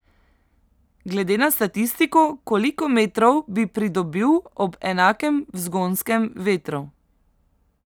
Glede na statistiko, koliko metrov bi pridobil ob enakem vzgonskem vetru?